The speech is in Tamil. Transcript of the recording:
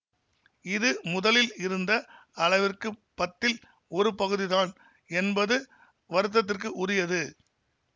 இது முதலில் இருந்த அளவிற்க்கு பத்தில் ஒரு பகுதிதான் என்பது வருத்தத்திற்க்கு உரியது